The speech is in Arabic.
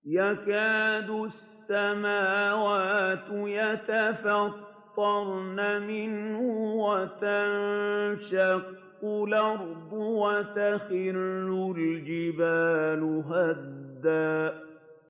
تَكَادُ السَّمَاوَاتُ يَتَفَطَّرْنَ مِنْهُ وَتَنشَقُّ الْأَرْضُ وَتَخِرُّ الْجِبَالُ هَدًّا